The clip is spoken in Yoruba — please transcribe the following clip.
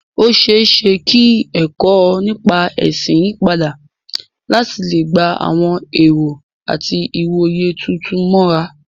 Ó ṣeé ṣe kí ẹ̀kọ́ nípa ẹ̀sìn yí padà láti lè gba àwọn ẹ̀rọ àti ìwòye tuntun mọ́ra.